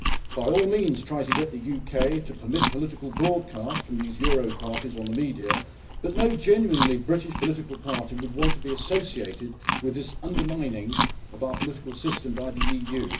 By all means try to get the UK to permit political broadcasts by these euro parties, but no genuinely British political party would want to be associated with this undermining of our political system by the EU.